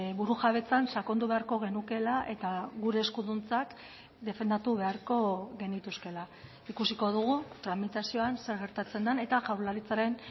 burujabetzan sakondu beharko genukeela eta gure eskuduntzak defendatu beharko genituzkeela ikusiko dugu tramitazioan zer gertatzen den eta jaurlaritzaren